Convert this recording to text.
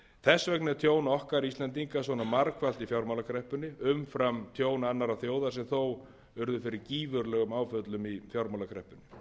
þess vegna er tjón okkar íslendinga svona margfalt í fjármálakreppunni umfram tjón annarra þjóða sem þó urðu fyrir gífurlegum áföllum í fjármálakreppunni